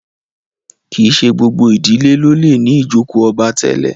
kín ṣe gbogbo ìdílé ló lẹ ní ijoko obá tèlé.